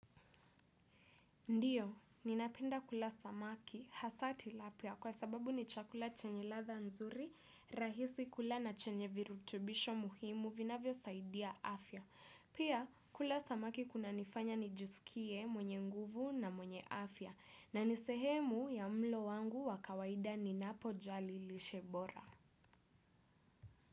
Ndio, ninapenda kula samaki hasa Tilapia kwa sababu ni chakula chenye ladha nzuri, rahisi kula na chenye virutubisho muhimu vinavyosaidia afya. Pia, kula samaki kunanifanya nijiskie mwenye nguvu na mwenye afya, na nisehemu ya mlo wangu wakawaida ninapo jali lishe bora.